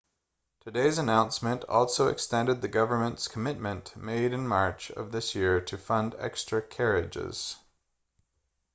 today's announcement also extended the government's commitment made in march of this year to fund extra carriages